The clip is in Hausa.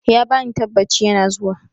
He gave the assurance, he is coming.